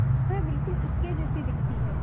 वह बिल्कुल उसके जैसी दिखती है